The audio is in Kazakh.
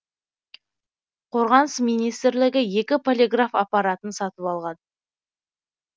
қорғаныс министрлігі екі полиграф аппаратын сатып алған